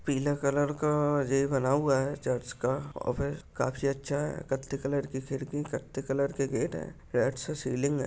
पीले कलर का ये बना हुआ है चर्च का काही अच्छा है कत्ते कलर की खिड़की कत्ते कलर के गेट है रेड सा सीलिंग है।